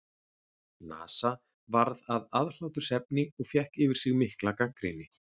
NASA varð að aðhlátursefni og fékk yfir sig mikla gagnrýni.